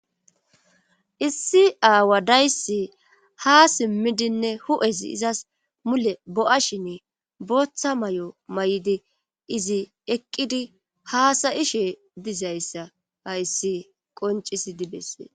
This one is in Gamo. Issi aawa dayssi ha simmidinne hu'esi izas mule bo'a shinne booththa may'o may'di izi eqqidi haasayishe dizayssa hayssi qoncisi dibese.